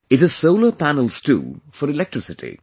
It has solar panels too for electricity